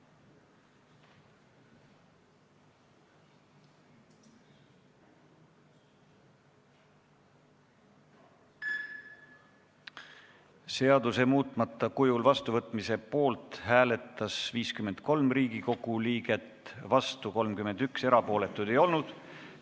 Hääletustulemused Seaduse muutmata kujul vastuvõtmise poolt hääletas 53 Riigikogu liiget, vastu oli 31, erapooletuid ei olnud.